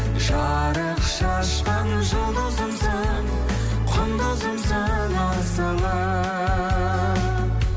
жарық шашқан жұлдызымсың құндызымсың асылым